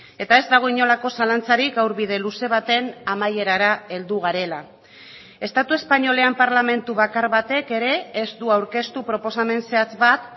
eta ez dago inolako zalantzarik gaur bide luze baten amaierara heldu garela estatu espainolean parlamentu bakar batek ere ez du aurkeztu proposamen zehatz bat